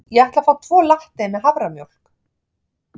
Ég ætla að fá tvo latte með haframjólk.